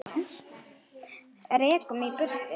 Rekur mig í burtu?